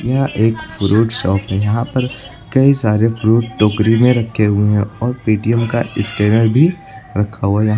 यह एक fruit shop है यहां पर कई सारे फ्रूट टोकरी में रखे हुए हैं और पेटीएम का स्कैनर भी रखा हुआ है।